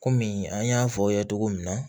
Kɔmi an y'a fɔ aw ye cogo min na